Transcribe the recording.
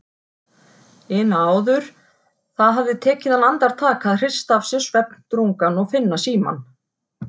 ina áður, það hafði tekið hann andartak að hrista af sér svefndrungann og finna símann.